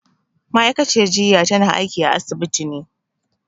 Ma'aikaciyar jiya tana aiki a asibiti ne